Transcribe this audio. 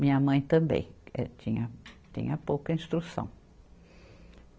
Minha mãe também é tinha pouca instrução.